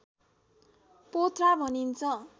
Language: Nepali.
पोथ्रा भनिन्छ